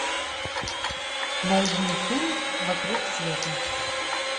найди фильм вокруг света